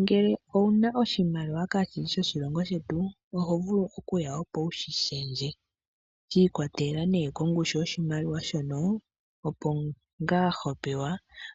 Ngele owu na oshimaliwa kaashi shi shoshilongo shetu oho vulu okuya opo wu shi shendje. Shi ikwatelela kongushu yoshimaliwa shono, opo ngaa ho pewa